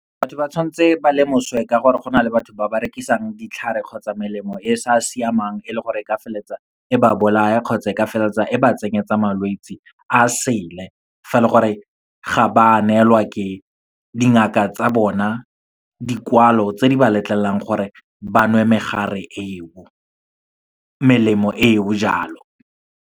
Batho ba tshwantse ba lemoswe ka gore go na le batho ba ba rekisang ditlhare kgotsa melemo e e sa siamang, e le gore e ka feleletsa e ba bolaya kgotsa e ka feleletsa e ba tsenyetsa malwetsi a sele. Fa e le gore ga ba neelwa ke dingaka tsa bona dikwalo tse di ba letlelelang gore ba nwe megare eo, melemo eo jalo.